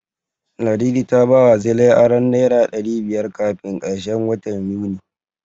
Ladidi ta bawa Zilai aron Naira ɗari biyar kafin karshen watan Yuni.